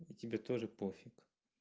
и тебе тоже пофиг